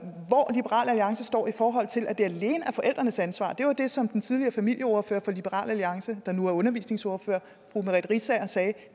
liberal alliance står i forhold til at det alene er forældrenes ansvar det var det som den tidligere familieordfører for liberal alliance der nu er undervisningsminister fru merete riisager sagde